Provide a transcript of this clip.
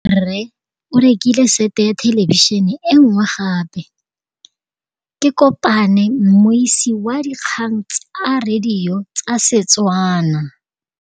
Rre o rekile sete ya thêlêbišênê e nngwe gape. Ke kopane mmuisi w dikgang tsa radio tsa Setswana.